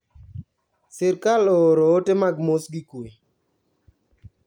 Sirkal ooro ote mag moss gi kwe